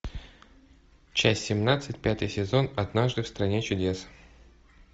часть семнадцать пятый сезон однажды в стране чудес